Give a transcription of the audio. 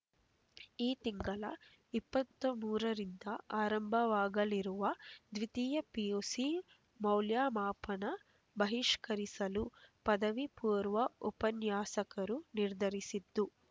ಈ ತಿಂಗಳ ಇಪ್ಪತ್ತ್ ಮೂರರಿಂದ ಆರಂಭವಾಗಲಿರುವ ದ್ವಿತೀಯ ಪಿಯುಸಿ ಮೌಲ್ಯಮಾಪನ ಬಹಿಷ್ಕರಿಸಲು ಪದವಿಪೂರ್ವ ಉಪನ್ಯಾಸಕರು ನಿರ್ಧರಿಸಿದ್ದು